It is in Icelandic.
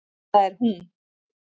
Það er hún!